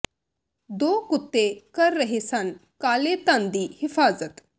ਦੋ ਕੁੱਤੇ ਕਰ ਰਹੇ ਸਨ ਕਾਲੇ ਧਨ ਦੀ ਹਿਫਾਜ਼ਤ